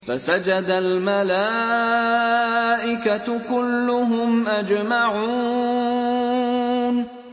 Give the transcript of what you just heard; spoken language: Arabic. فَسَجَدَ الْمَلَائِكَةُ كُلُّهُمْ أَجْمَعُونَ